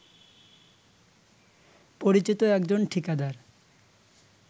পরিচিত একজন ঠিকাদার